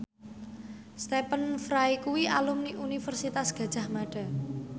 Stephen Fry kuwi alumni Universitas Gadjah Mada